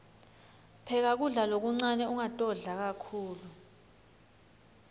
pheka kudla lokuncane ungatodla kakhulu